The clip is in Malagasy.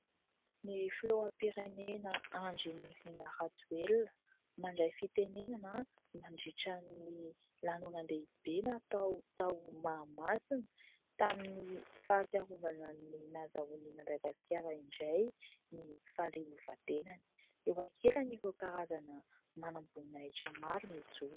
Ny filoham-pirenena Andrinirina Rajoelina mandray fitenenana mandritran'ny lanonan-dehibe natao tao Mahamasina tamin'ny fahatsiarovana ny nazahoan'i Madagasikara indray ny fahaleovan-tenany. Eo ankilany ireo karazana manam-boninahitra maro mijoro.